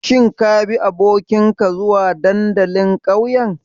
Shin kabi abokinka zuwa dandalin ƙauyen?